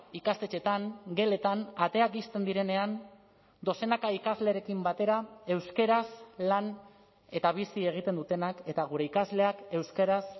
ikastetxeetan geletan ateak ixten direnean dozenaka ikaslerekin batera euskaraz lan eta bizi egiten dutenak eta gure ikasleak euskaraz